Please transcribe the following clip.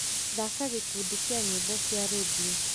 thaaka gũkundi kĩa nyĩmbo cia rĩndiũ